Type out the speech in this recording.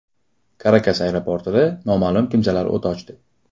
Karakas aeroportida noma’lum kimsalar o‘t ochdi.